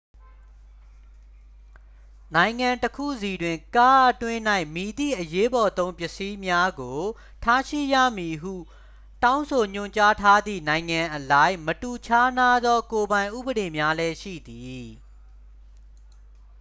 နိုင်ငံတစ်ခုစီတွင် ကားအတွင်း၌ မည်သည့်အရေးပေါ်သုံးပစ္စည်းများကို ထားရှိရမည်ဟု တောင်းဆိုညွှန်ကြားထားသည့် နိုင်ငံအလိုက် မတူခြားနားသော ကိုယ်ပိုင်ဥပဒေများလည်းရှိသည်